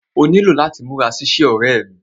Ó nílò láti múra sí iṣẹ́, ọ̀rẹ́ ẹ́ mí.